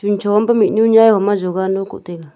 ham cho an peh mihnu nye a yoga ano koh tai ley.